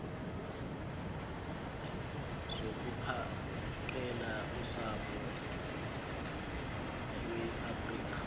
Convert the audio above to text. zokuphakela usapho iweafrika